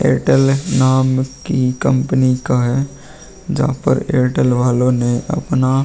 Airtel नाम की company का है। जहाँ पर एयरटेल वालों ने अपना --